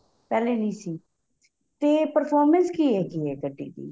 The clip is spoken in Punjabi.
ਪਹਿਲੇ ਨਹੀਂ ਸੀ ਤੇ performance ਕੀ ਏਹ ਕੀ ਗੱਡੀ ਦੀ